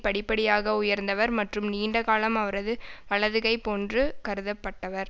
படிப்படியாக உயர்ந்தவர் மற்றும் நீண்டகாலம் அவரது வலதுகை போன்று கருதப்பட்டவர்